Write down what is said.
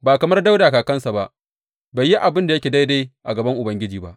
Ba kamar Dawuda kakansa ba, bai yi abin da yake daidai a gaban Ubangiji ba.